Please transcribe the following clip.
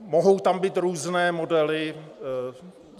Mohou tam být různé modely.